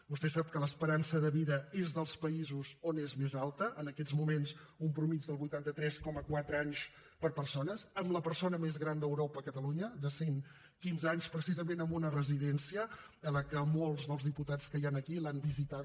vostè sap que l’esperança de vida és dels països on és més alta en aquests moments una mitjana de vuitanta tres coma quatre anys per persona amb la persona més gran d’europa a catalunya de cent quinze anys precisament en una residència que molts dels diputats que hi han aquí l’han visitada